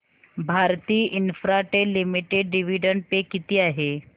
Bharti Infratel limited dividend पे किती आहे